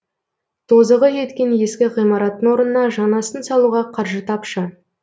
тозығы жеткен ескі ғимараттың орнына жаңасын салуға қаржы тапшы